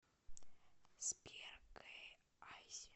сбер джи изи